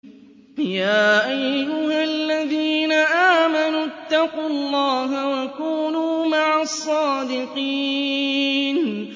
يَا أَيُّهَا الَّذِينَ آمَنُوا اتَّقُوا اللَّهَ وَكُونُوا مَعَ الصَّادِقِينَ